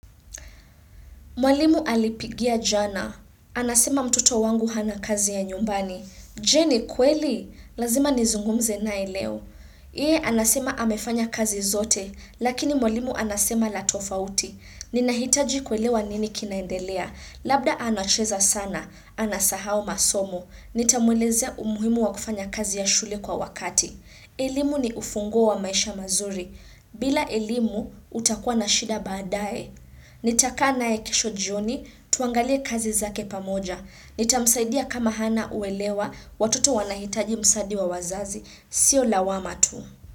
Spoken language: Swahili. Mwalimu alipigia jana. Anasema mtoto wangu hana kazi ya nyumbani. Je ni kweli? Lazima nizungumze naye leo. Yeye anasema amefanya kazi zote, lakini mwalimu anasema la tofauti. Ninahitaji kuelewa nini kinaendelea. Labda anacheza sana. Anasahau masomo. Nitamwelezea umuhimu wa kufanya kazi ya shule kwa wakati. Elimu ni ufunguo wa maisha mazuri. Bila elimu, utakua na shida badae. Nitakaa naye kesho jioni tuangalie kazi zake pamoja. Nitamsaidia kama hana uelewa watoto wanahitaji msadi wa wazazi. Sio lawama tu.